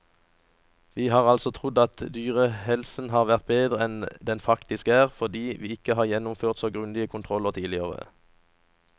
Vi har altså trodd at dyrehelsen har vært bedre enn den faktisk er, fordi vi ikke har gjennomført så grundige kontroller tidligere.